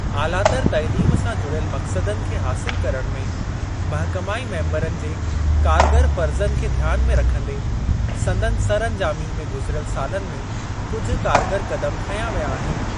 आलातर तइलीम सां जुड़ियल मक़्सदनि खे हासिल करण में महिकमाई मेम्बरनि जे कारगर फ़र्ज़नि खे ध्यान में रखंदे, संदनि सरअंजामी में गुज़िरियल सालनि में कुझु कारगर क़दम खंया विया आहिनि।